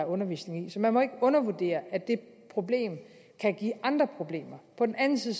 undervisning så man må ikke undervurdere at det problem kan give andre problemer på den anden